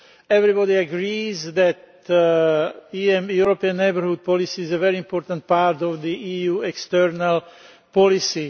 everybody agrees that the European Neighbourhood Policy is a very important part of EU external policy.